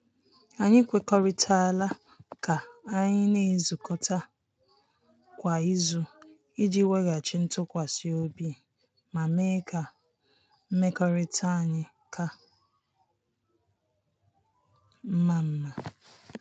Anyị kwekuritala ka anyị na-ezukọta kwa izu iji weghachi ntụkwasị obi ma mee ka mmekọrịta anyị ka mma. mma.